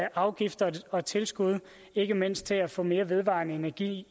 afgifter og tilskud ikke mindst til at få mere vedvarende energi